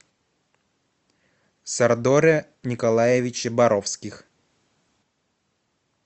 сардоре николаевиче боровских